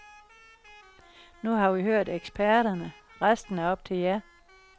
Nu har vi hørt eksperterne, resten er op til jer.